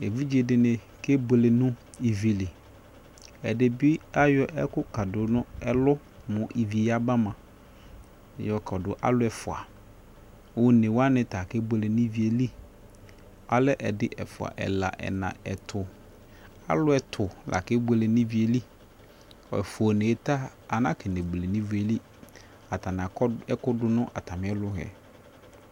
evidze dɩnɩ kebuele nʊ ivi li, ɛdɩbɩ ayɔ ɛkʊ kadʊ nʊ ɛlʊ, mʊ ivi ya ba mua, yɔ kɔdʊ alʊ ɛfua, onewanɩ ta kebuele nʊ ivi yɛ li, alɛ ɛdɩ, ɛfua, ɛla, ɛna, ɛtʊ, alʊ ɛtʊ la kebuele nʊ ivi yɛ li, ɛfua onewa ta ana kenebuele nʊ ivi yɛ li, atanɩ akɔ ɛkʊdʊ nʊ atamɩ ɛlʊ yɛ